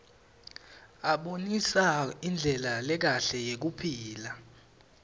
abonisa indlela lekahle yekuphila